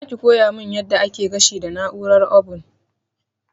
Zaki koya mun yadda ake gashi da na'urar obun?